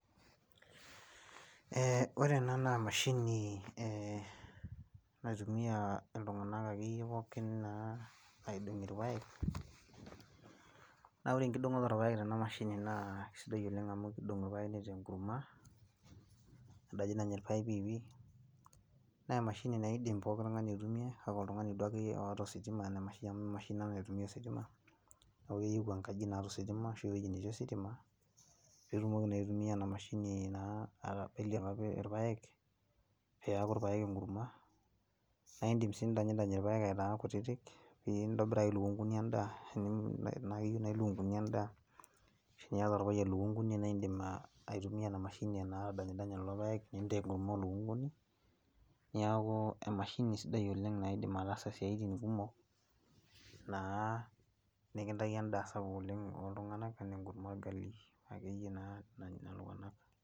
Ee ore ena naa emashini ee naitumiya aa iltunganak akeyie pookin naa aidonkie ilpayek, naa ore enkidonkoto oolpayek tana mashinini naa kesidai oleng' amu kidonk ilpayek nitaa enkurma nadinydiny ilpayek piipi, naa emashini naidim pookin nkae aitumiya kake oltungani duo akeyie oota ositima amu emashini naa naitumiya ositima, neeku keyieu enkaji naata ositima arashu ewoji netii ositima pee etumoki naa aitumiya ena mashini aidonkie naa keyie ilpayek peeku ilpayek enkurma, naidim sii nidanynyidany ilpayek aitaa kutiti pee nintobiraki ilukunkuni endaa, eneyio naaji ilukunkuni endaa ashu teniyata olpayian ilukunkuni naidim aitumiya ena mashini metadanydanya ilpayek nepuko endaa oo lukunkuni. Neeku emashini sidai oleng' naidim ataasa isiatin kumok, naa nikintaiki endaa sapuk ooltunganak, enaa enkurma olrgali akeyie naa nanya iltunganak.